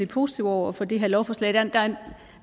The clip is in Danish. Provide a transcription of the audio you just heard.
positive over for det her lovforslag der er